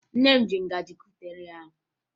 Nne m ji ngaji kupụta nri ahụ